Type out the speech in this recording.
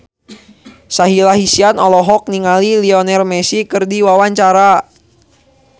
Sahila Hisyam olohok ningali Lionel Messi keur diwawancara